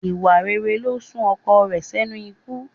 Ìwà rere ló sún ọkọ rẹ̀ sẹ́nu ikú